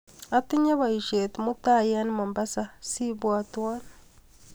Atinye baishet mutal eng Mombasa ,sibwatwa.